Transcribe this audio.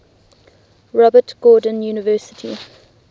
robert gordon university